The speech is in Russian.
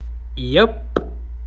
я